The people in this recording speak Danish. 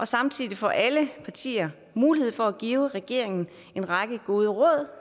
samtidig får alle partier mulighed for at give regeringen en række gode råd